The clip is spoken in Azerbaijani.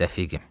Rəfiqim.